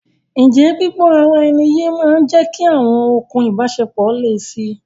Ǹjẹ́ gbígbó ara ẹni yé máa ń jẹ́kí awọn okùn ìbáṣepọ̀ le si?